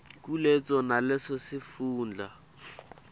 kuleso naleso sifundza